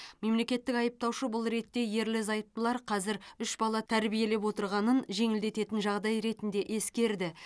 мемлекеттік айыптаушы бұл ретте ерлі зайыптылар қазір үш бала тәрбиелеп отырғанын жеңілдететін жағдай ретінде ескерді